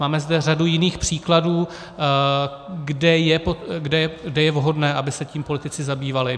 Máme zde řadu jiných příkladů, kde je vhodné, aby se tím politici zabývali.